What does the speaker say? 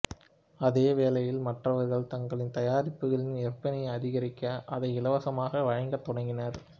அதே வேளையில் மற்றவர்கள் தங்களின் தயாரிப்புகளின் விற்பனையை அதிகரிக்க அதை இலவசமாக வழங்கத் தொடங்கிவிட்டனர்